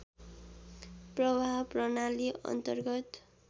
प्रवाह प्रणाली अन्तर्गत